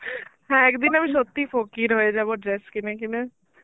হ্যাঁ একদিন আমি সত্যিই ফকির হয়ে যাবো dress কিনে কিনে.